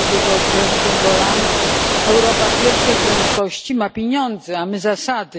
Jak powiedział prezydent Holland, Europa pierwszej prędkości ma pieniądze, a my zasady.